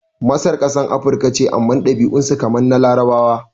Masar kasan Afirika ce amma ɗabi'un su kamar na Larabawa